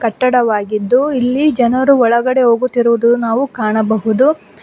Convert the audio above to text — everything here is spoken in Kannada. ಕಟ್ಟಡವಾಗಿದ್ದು ಇಲ್ಲಿ ಜನರು ಒಳಗಡೆ ಹೋಗುತ್ತಿರುವುದು ನಾವು ಕಾಣಬಹುದು.